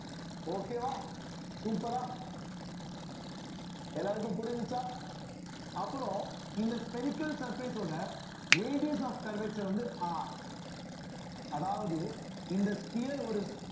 okay வா super ஆ எல்லாருக்கும் புரிஞ்சுச்சா அப்புறம் இந்த spherical surface ஓட radius of curvature வந்து R அதாவது இந்த sphere ஒரு